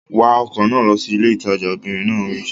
Wa ọkọ̀ náà lọ sí ilé ìtajà! Obìnrin náà wí.